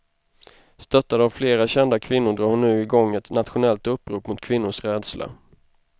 Stöttad av flera kända kvinnor drar hon nu igång ett nationellt upprop mot kvinnors rädsla.